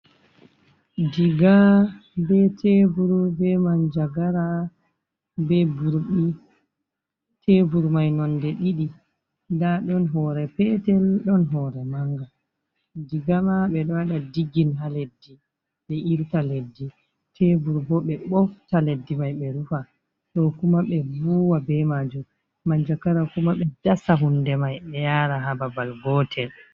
Diga be teburu be manjagara be burɗi, tebur mai nonde ɗiɗi, nda ɗon hore petel ɗon hore manga, diga ma ɓe ɗo waɗa digin ha leddi ɓe irta leddi, tebur bo ɓe ɓofta leddi mai ɓe rufa, ɗo kuma ɓe vuwa be majum, manjagara kuma be dasa hunde mai ɓe yara ha babal gotel.